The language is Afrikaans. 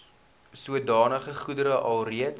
sodanige goedere alreeds